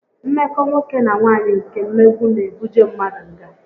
Mmeko nwoke na nwaanyị nke mmegbu n'ebuje mmadu ngá